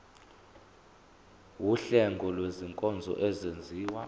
wuhlengo lwezinkonzo ezenziwa